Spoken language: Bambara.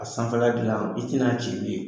A sanfɛla dilan i tɛna ci ye.